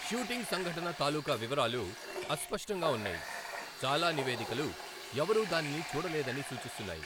Shooting సంఘటన తాలుకా వివరాలు అస్పష్టంగా ఉన్నాయి, చాలా నివేదికలు ఎవరూ దానిని చూడలేదని సూచిస్తున్నాయి.